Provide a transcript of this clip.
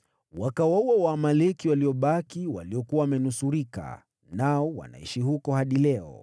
Wakawaua Waamaleki waliobaki, waliokuwa wamenusurika, nao wanaishi huko hadi leo.